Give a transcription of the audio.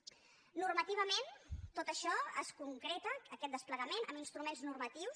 normativament tot això es concreta aquest desplegament en instruments normatius